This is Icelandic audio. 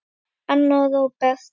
Anna og Róbert.